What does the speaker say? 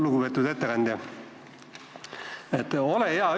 Lugupeetud ettekandja!